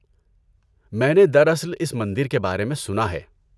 میں نے دراصل اس مندر کے بارے میں سنا ہے۔